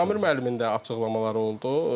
Samir müəllimin də açıqlamaları oldu.